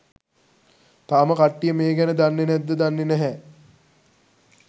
තාම කට්ටිය මේ ගැන දන්නේ නැද්ද දන්නේ නැහැ